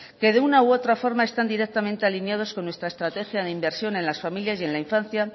que de una u otra forma están directamente alineados con nuestra estrategia de inversión en las familias y en la infancia